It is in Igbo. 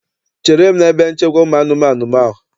Chere m n'ebe nchekwa ụmụanụmaụ!